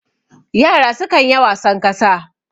yara sukan ya wasan kasa